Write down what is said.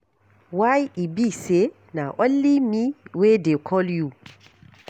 Why e be say na only me wey dey call you.